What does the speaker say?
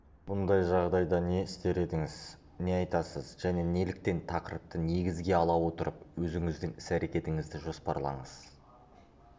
бұндай жағдайда не істер едіңіз не айтасыз және неліктен тақырыпты негізге ала отырып өзіңіздің іс-әрекетіңізді жоспарлаңыз